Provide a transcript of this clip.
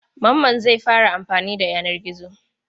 Mamman zai fara amfani da yanar gizo.